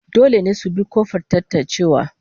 Dole ne su bi ta kofar tatancewa